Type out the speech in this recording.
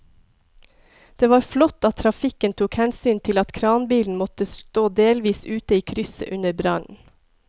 Det var flott at trafikken tok hensyn til at kranbilen måtte stå delvis ute i krysset under brannen.